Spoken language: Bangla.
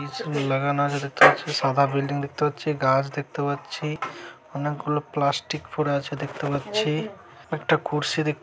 লাগানো আছে দেখতে পাচ্ছি সাদা বিল্ডিং দেখতে পাচ্ছি গাছ দেখতে পাচ্ছি অনেকগুলো প্লাস্টিক পড়ে আছে দেখতে পাচ্ছি একটা কুর্শি দেখ--